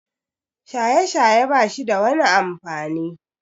Shaye-shaye bashida wani amfani.